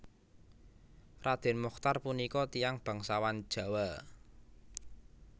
Raden Mochtar punika tiyang bangsawan Jawa